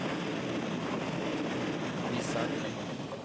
visar